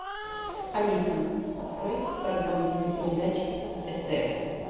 алиса открой программу телепередач стс